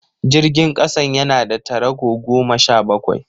Jirgin kasan yana da tarago goma sha bakwai